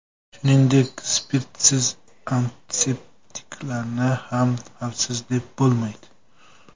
Shuningdek, spirtsiz antiseptiklarni ham xavfsiz, deb bo‘lmaydi.